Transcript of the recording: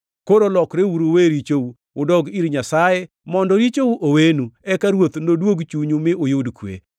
Koro lokreuru uwe richou, udog ir Nyasaye, mondo richou owenu, eka Ruoth noduog chunyu mi uyud kwe,